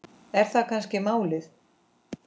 Er það kannski málið?